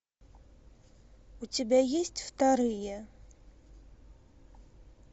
у тебя есть вторые